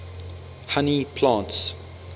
honey plants